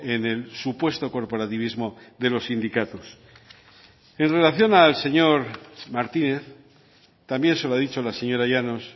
en el supuesto corporativismo de los sindicatos en relación al señor martínez también se lo ha dicho la señora llanos